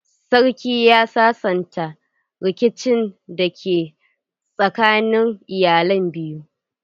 Sarkin ya sasanta rikicin da ke tsakanin iyalan biyu.